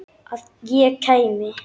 Að ég kæmi?